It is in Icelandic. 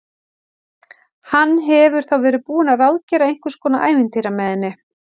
Hann hefur þá verið búinn að ráðgera einhvers konar ævintýri með henni!